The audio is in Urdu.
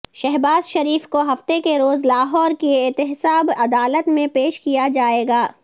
شہباز شریف کو ہفتے کے روز لاہور کی احتساب عدالت میں پیش کیا جائے گا